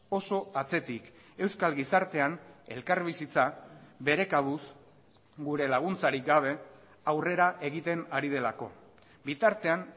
oso atzetik euskal gizartean elkarbizitza bere kabuz gure laguntzarik gabe aurrera egiten hari delako bitartean